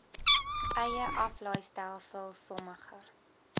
eie aflaaistelsel sommige